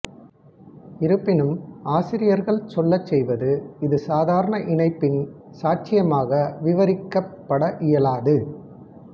இருப்பினும் ஆசிரியர்கள் சொல்லச் செய்வதுஇது சாதாரண இணைப்பின் சாட்சியமாக விவரிக்கப்பட இயலாது